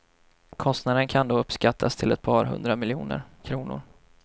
Kostnaden kan då uppskattas till ett par hundra miljoner kronor.